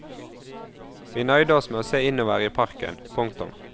Vi nøyde oss med å se innover i parken. punktum